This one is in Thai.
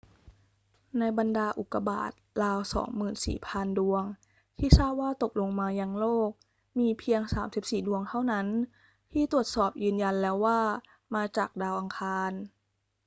ในบรรดาอุกกาบาตราว 24,000 ดวงที่ทราบว่าตกลงมายังโลก มีเพียง 34 ดวงเท่านั้นที่ตรวจสอบยืนยันแล้วว่ามาจากดาวอังคาร